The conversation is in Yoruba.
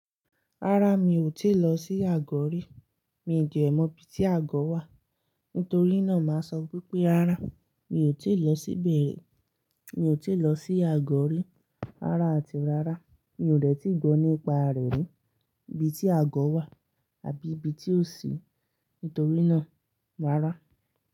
Rárá mi ò tíì lọ sí Àgọ̀ rí. Mi ò dẹ̀ mọ̀ ibi tí Àgọ̀ wà. Nítorí náà, màá sọ pé, rárá mi ò tíì lọ síbẹ̀ rí. Mi ò tíì lọ sí Àgọ̀ rí. Rárá àti rárá, mi ò dẹ́ti gbọ́ nípa rẹ̀ rí, ibi tí Àgọ̀ wà àbí ibi tí ó sì í. Nítorí náà, rárá.